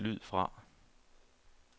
lyd fra